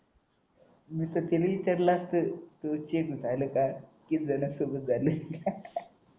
मी तर तिला ही विचारलं असतं किती जणांना फिरवून झाले